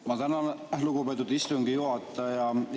Ma tänan, lugupeetud istungi juhataja!